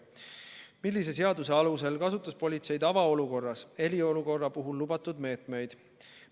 Millise seaduse alusel kasutas politsei tavaolukorras eriolukorra puhul lubatud meetmeid?